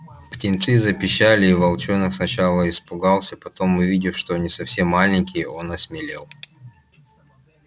птенцы запищали и волчонок сначала испугался потом увидев что они совсем маленькие он осмелел